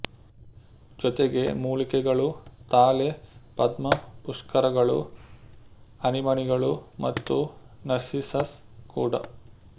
ಜೊತೆಗೆ ಮೂಲಿಕೆಗಳು ತಾಳೆ ಪದ್ಮಪುಷ್ಕರಗಳು ಅನಿಮನಿಗಳು ಮತ್ತು ನಾರ್ಸಿಸಸ್ ಕೂಡ